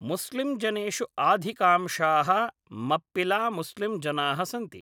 मुस्लिंजनेुषु आधिकांशाः मप्पिलामुस्लिंजनाः सन्ति ।